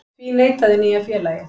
Því neitaði nýja félagið